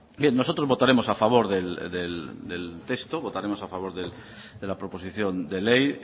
bien nosotros votaremos a favor del texto votaremos a favor de la proposición de ley